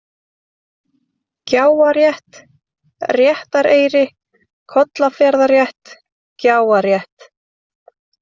Gjáarétt, Réttareyri, Kollafjarðarrétt, Gjáarrétt